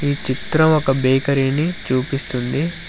ఈ చిత్రం ఒక బేకరీ ని చూపిస్తుంది.